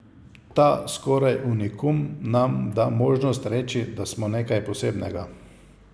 Ta skoraj unikum nam da možnost reči, da smo nekaj posebnega.